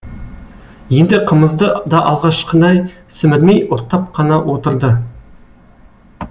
енді қымызды да алғашқыдай сімірмей ұрттап қана отырды